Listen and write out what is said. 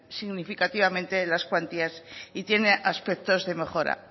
significativamente las cuantías y tiene aspectos de mejora